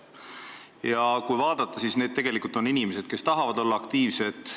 Ja kui vaadata, kes need on, siis need on tegelikult inimesed, kes tahavad olla aktiivsed.